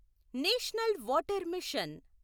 national water machine